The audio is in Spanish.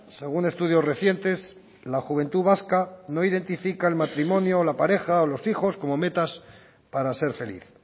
según estudios recientes la juventud vasca no identifica el matrimonio la pareja o los hijos como metas para ser feliz